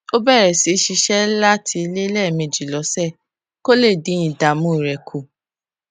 ó bèrè sí í ṣiṣé láti ilé léèmejì lósè kó lè dín ìdààmú rè kù